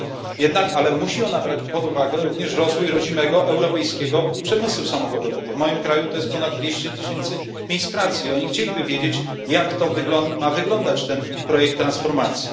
Musi ona jednak brać pod uwagę również rozwój rodzimego europejskiego przemysłu samochodowego w moim kraju to jest ponad dwieście tysięcy miejsc pracy i oni chcieliby wiedzieć, jak ma wyglądać ten projekt transformacji.